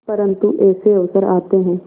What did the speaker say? परंतु ऐसे अवसर आते हैं